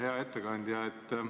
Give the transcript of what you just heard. Hea ettekandja!